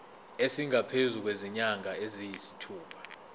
esingaphezu kwezinyanga eziyisithupha